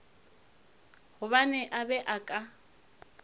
gobane a be a ka